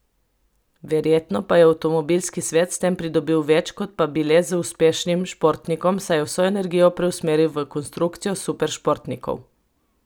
Verjetno pa je avtomobilski svet s tem pridobil več kot pa bi le z uspešnim športnikom, saj je vso energijo preusmeril v konstrukcijo superšportnikov.